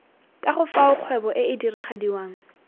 kago fao kgwebo ee diragadiwang